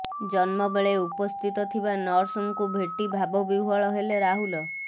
ଜନ୍ମ ବେଳେ ଉପସ୍ଥିତ ଥିବା ନର୍ସଙ୍କୁ ଭେଟି ଭାବବିହ୍ୱଳ ହେଲେ ରାହୁଲ